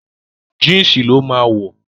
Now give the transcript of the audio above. Jínsì ló máa wọ̀